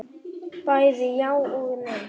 Bæði já og nei.